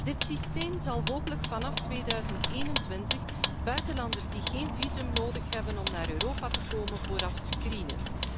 Dit systeem zal hopelijk vanaf 2021 buitenlanders die geen visum nodig hebben om naar Europa te komen, vooraf screenen.